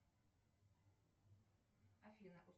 афина